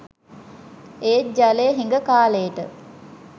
ඒත් ජලය හිඟ කාලෙට